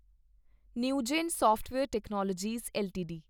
Newgen software technologies LTD